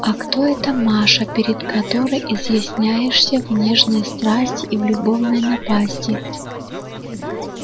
а кто эта маша перед которой изъясняешься в нежной страсти и в любовной напасти